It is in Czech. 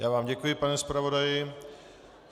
Já vám děkuji, pane zpravodaji.